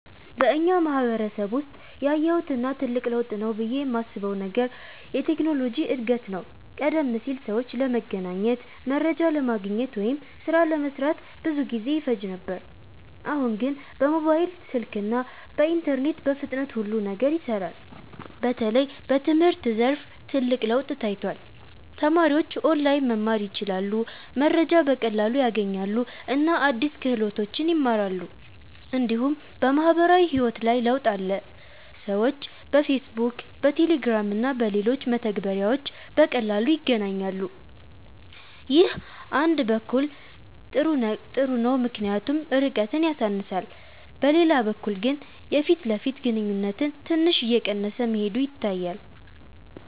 በእኛ ማህበረሰብ ውስጥ ያየሁት እና ትልቅ ለውጥ ነው ብዬ የማስበው ነገር የቴክኖሎጂ እድገት ነው። ቀደም ሲል ሰዎች ለመገናኘት፣ መረጃ ለማግኘት ወይም ሥራ ለመስራት ብዙ ጊዜ ይፈጅ ነበር። አሁን ግን በሞባይል ስልክ እና በኢንተርኔት በፍጥነት ሁሉ ነገር ይሰራል። በተለይ በትምህርት ዘርፍ ትልቅ ለውጥ ታይቷል። ተማሪዎች ኦንላይን መማር ይችላሉ፣ መረጃ በቀላሉ ያገኛሉ እና አዲስ ክህሎቶችን ይማራሉ። እንዲሁም በማህበራዊ ህይወት ላይ ለውጥ አለ። ሰዎች በፌስቡክ፣ በቴሌግራም እና በሌሎች መተግበሪያዎች በቀላሉ ይገናኛሉ። ይህ አንድ በኩል ጥሩ ነው ምክንያቱም ርቀትን ያሳንሳል፤ በሌላ በኩል ግን የፊት ለፊት ግንኙነት ትንሽ እየቀነሰ መሄዱ ይታያል።